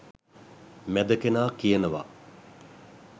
මැද කෙනා කියනව